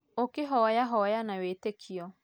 ũkihoya hoya na wĩtĩkio